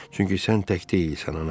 Çünki sən tək deyilsən ana.